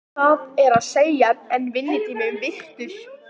Það er að segja, er vinnutími virtur?